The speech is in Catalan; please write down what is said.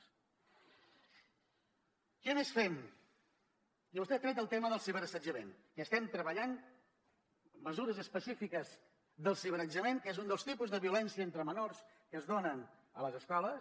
què més fem i vostè ha tret el tema del ciberassetjament que estem treballant mesures específiques del ciberassetjament que és un dels tipus de violència entre menors que es dona a les escoles